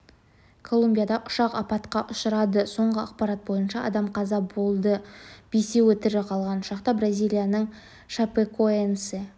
колумбияда ұшақ апатқа ұшырады соңғы ақпарат бойынша адам қаза болып бесеуі тірі қалған ұшақта бразилияның шапекоэнсе